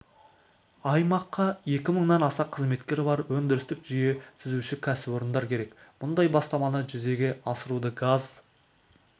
аймаққа екі мыңнан аса қызметкері бар өндірістік жүйе түзуші кәсіпорындар керек бұндай бастаманы жүзеге асыруды газ